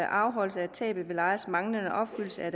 afholdelse af tab ved lejers manglende opfyldelse af